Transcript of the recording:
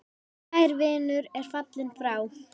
Kær vinur er fallin frá.